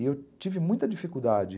E eu tive muita dificuldade.